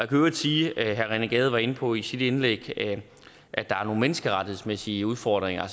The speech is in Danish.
i øvrigt sige herre rené gade var inde på det i sit indlæg at der er nogle menneskerettighedsmæssige udfordringer